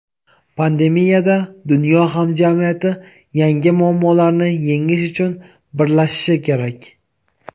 pandemiyada dunyo hamjamiyati yangi muammolarni yengish uchun birlashishi kerak.